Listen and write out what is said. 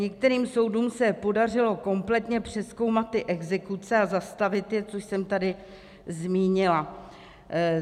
Některým soudům se podařilo kompletně přezkoumat ty exekuce a zastavit je, což jsem tady zmínila.